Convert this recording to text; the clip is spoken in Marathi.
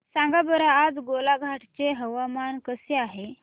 सांगा बरं आज गोलाघाट चे हवामान कसे आहे